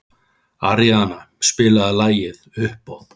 Aríaðna, spilaðu lagið „Uppboð“.